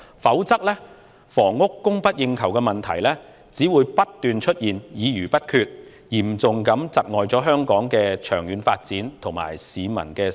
否則，在房屋供不應求的問題上，只會不斷出現議而不決的情況，嚴重窒礙香港的長遠發展，以及市民的生活質素。